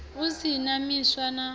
u si wa misi wa